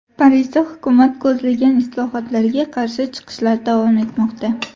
Parijda hukumat ko‘zlagan islohotlarga qarshi chiqishlar davom etmoqda.